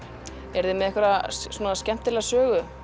eruð þið með einhverja skemmtilega sögu